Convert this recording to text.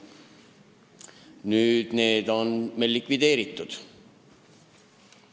Need komisjonid on nüüdseks likvideeritud.